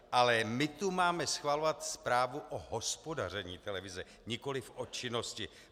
Ale my tu máme schvalovat zprávu o hospodaření televize, nikoliv o činnosti.